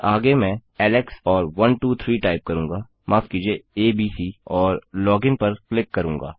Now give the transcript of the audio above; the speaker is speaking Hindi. आगे मैं एलेक्स और 123 टाइप करूँगा माफ कीजिए एबीसी और लोगिन पर क्लिक करूँगा